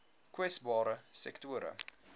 kwesbare sektore